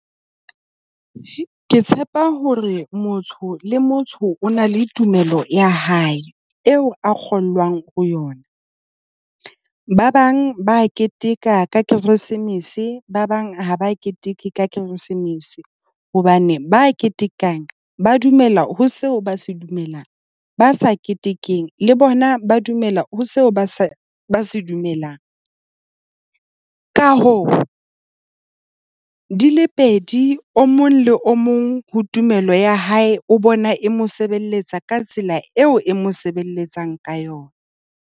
Ke tshepa hore motho le motho o na le tumelo ya hae eo a kgonwang ho yona. Ba bang ba a keteka ka Keresemese ba bang ha ba keteke Keresemese hobane ba ketekang ba dumela ho seo ba se dumelang. Ba sa ketekeng le bona, ba dumela ho seo ba sa dumelang. Ka hao di le pedi o mong le o mong ho tumelo ya hae o bona e mo sebeletsa ka tsela eo e mo sebeletsang ka yona.